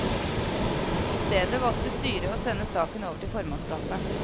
I stedet valgte styret å sende saken over til formannskapet.